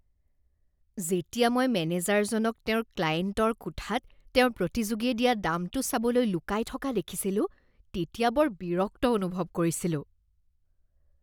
যেতিয়া মই মেনেজাৰজনক তেওঁৰ ক্লায়েণ্টৰ কোঠাত তেওঁৰ প্ৰতিযোগীয়ে দিয়া দামটো চাবলৈ লুকাই থকা দেখিছিলো তেতিয়া বৰ বিৰক্ত অনুভৱ কৰিছিলোঁ।